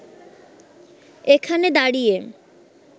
এখানে দাঁড়িয়ে